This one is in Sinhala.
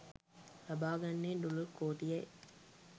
ලබා ගන්නේ ඩොලර් කෝටි යි.